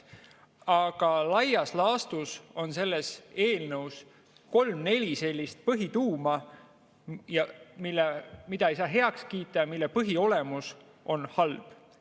Aga laias laastus on selles eelnõus kolm-neli sellist põhituuma, mida ei saa heaks kiita ja mille põhiolemus on halb.